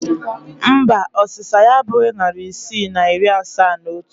Mba, ọsịsa ya abụghị narị isii na iri asaa na otu